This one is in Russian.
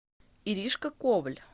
иришка коваль